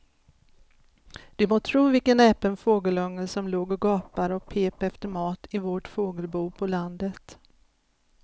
Du må tro vilken näpen fågelunge som låg och gapade och pep efter mat i vårt fågelbo på landet.